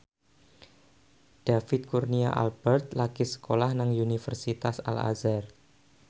David Kurnia Albert lagi sekolah nang Universitas Al Azhar